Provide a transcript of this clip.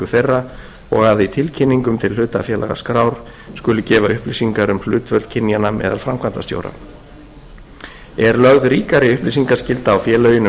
þeirra og að í tilkynningum til hlutafélagaskrár skuli gefa upplýsingar um hlutföll kynjanna meðal framkvæmdastjóra er lögð ríkari upplýsingaskylda á félögin um kynjahlutföll í